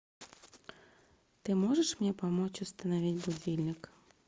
ты можешь мне помочь установить будильник